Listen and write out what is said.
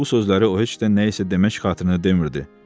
Bu sözləri o heç də nəyisə demək xatirinə demirdi.